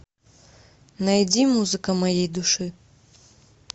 найди музыка моей души